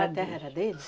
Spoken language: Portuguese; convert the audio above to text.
A terra era deles?